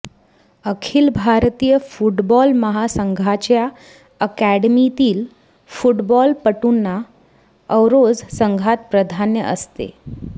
अखिल भारतीय फुटबॉल महासंघाच्या अकादमीतील फुटबॉलपटूंना अॅरोज संघात प्राधान्य असते